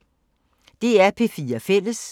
DR P4 Fælles